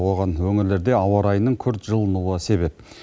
оған өңірлерде ауа райының күрт жылынуы себеп